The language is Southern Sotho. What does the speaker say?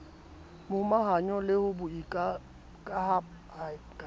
momahanyo le ho boikamahanyo ba